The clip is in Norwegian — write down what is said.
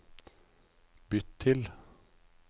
bytt til